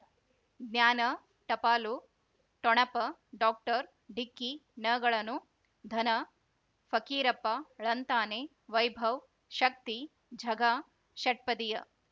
ಜ್ಞಾನ ಟಪಾಲು ಠೊಣಪ ಡಾಕ್ಟರ್ ಢಿಕ್ಕಿ ಣಗಳನು ಧನ ಫಕೀರಪ್ಪ ಳಂತಾನೆ ವೈಭವ್ ಶಕ್ತಿ ಝಗಾ ಷಟ್ಪದಿಯ